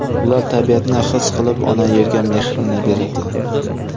Ular tabiatni his qilib, ona Yerga mehrini beradi.